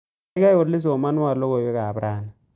Gaigai oli somanwon logoywekab raini